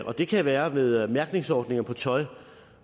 og det kan være ved mærkningsordninger på tøj